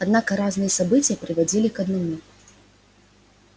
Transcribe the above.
однако разные события приводили к одному